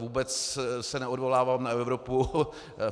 Vůbec se neodvolávám na Evropu.